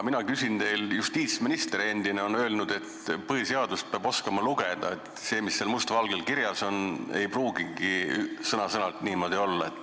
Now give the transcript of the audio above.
Endine justiitsminister on öelnud, et põhiseadust peab oskama lugeda, et see, mis seal must valgel kirjas on, ei pruugigi sõna-sõnalt niimoodi olla.